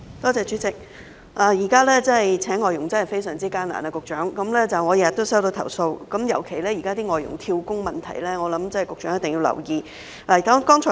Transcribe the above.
局長，現時聘請外傭真的非常艱難，我每天也收到投訴，尤其是關於外傭"跳工"問題，我想這是局長一定要留意的。